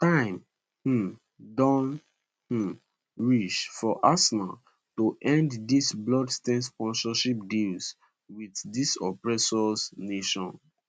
time um don um reach for arsenal to end di bloodstained sponsorship deals wit dis oppressor nation